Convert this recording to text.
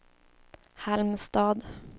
Halmstad